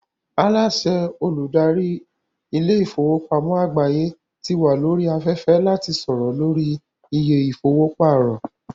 Aláàsẹ Olùdarí ilé ìfowópamọ́ àgbáyé ti wà lórí afẹ́fẹ́ láti sọ̀rọ̀ lórí iye ìfowó pàrọ̀